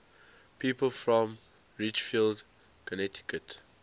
people from ridgefield connecticut